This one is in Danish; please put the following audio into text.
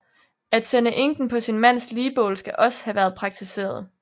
At sende enken på sin mands ligbål skal også have været praktiseret